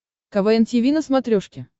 квн тиви на смотрешке